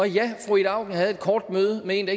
ja fru ida auken havde et kort møde med en